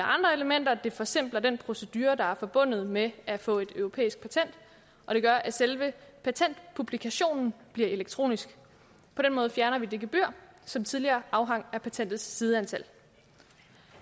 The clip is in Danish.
andre elementer og det forsimpler den procedure der er forbundet med at få et europæisk patent og det gør at selve patentpublikationen bliver elektronisk på den måde fjerner vi det gebyr som tidligere afhang af patentets sideantal